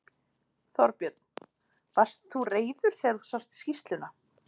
Þorbjörn: Varstu reiður þegar þú sást skýrsluna?